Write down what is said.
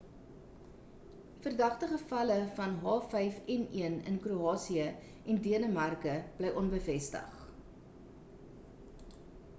verdagte gevalle van h5n1 in kroasië en denemarke bly onbevestig